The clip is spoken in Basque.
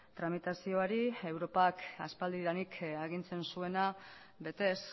tramitazioari europak aspaldidanik agintzen zuena betez